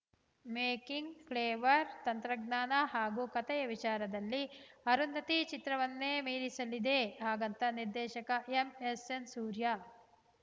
making flavour ತಂತ್ರಜ್ಞಾನ ಹಾಗೂ ಕತೆಯ ವಿಚಾರದಲ್ಲಿ ಅರುಂಧತಿ ಚಿತ್ರವನ್ನೇ ಮೀರಿಸಲಿದೆ ಹಾಗಂತ ನಿರ್ದೇಶಕ ಎಂ ಎಸ್‌ ಎನ್‌ ಸೂರ್ಯ